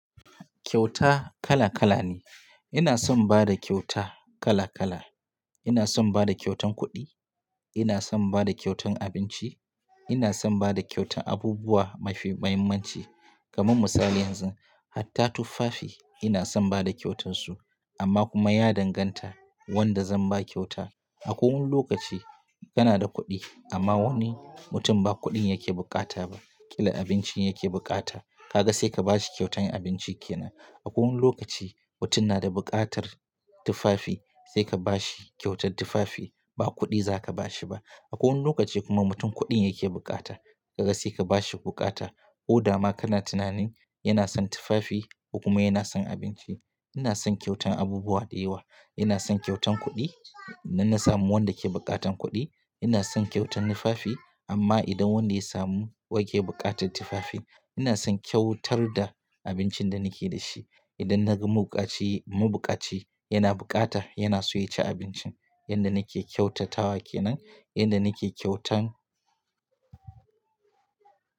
Kyauta kala kala ne. Ina son bada kyauta kala kala. Ina son bada kyautan kuɗi, ina son bada kyautan abinci, ina son bada kyautan abubuwa mafi muhimmanci kamar misali yanzu, hatta tufafi ina son bada kyautar su amma kuma ya danganta wanda zan ba kyauta. Akwai wani lokaci kana da kuɗi amma wani mutum ba kuɗin yake bukata ba, kalan abincin yake bukata, kaga sai ka bashi kyautan abinci kenan. Akwai wani lokaci mutum na da buƙatar tufafi sai ka bashi kyautar tufafi ba kuɗi za ka bashi ba. Akwai wani lokaci kuma mutum kuɗin yake bukata, kaga sai ka bashi bukata. Ko dama kana tunanin yana son tufafi kuma yana son abinci. Ina son kyautan abubuwa da yawa. Ina son kyautan kuɗi idan na samu wanda ke buƙatar kuɗi, ina son kyautan tufafi amma idan wanda ya samu wanke buƙatar tufafi, ina son kyautar da abincin da nake da shi. Idan na ga mabukaci yana bukata yana son ya ci abincin, yanda nake kyautatawa kenan, yanda nake kyautan.